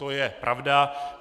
To je pravda.